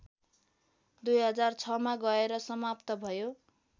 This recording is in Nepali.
२००६मा गएर समाप्त भयो